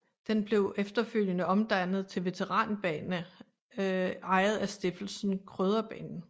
Den blev efterfølgende omdannet til veteranbane ejet af Stiftelsen Krøderbanen